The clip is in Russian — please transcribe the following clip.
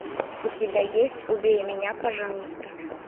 у тебя есть убей меня пожалуйста